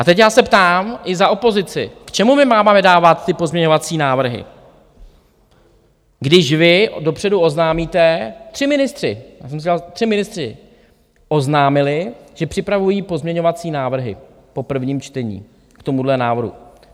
A teď já se ptám i za opozici, k čemu my máme dávat ty pozměňovací návrhy, když vy dopředu oznámíte, tři ministři oznámili, že připravují pozměňovací návrhy po prvním čtení k tomuhle návrhu.